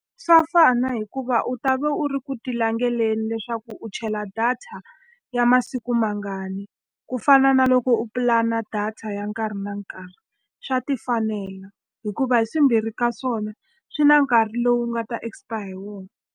Swa fana hikuva u ta va u ri ku ti langeleni leswaku u chela data ya masiku mangani. Ku fana na loko u pulana data ya nkarhi na nkarhi, swa ti fanela. Hikuva hi swimbirhi ka swona swi na nkarhi lowu nga ta expire hi wona.